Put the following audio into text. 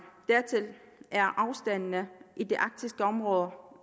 dertil er afstandene i det arktiske område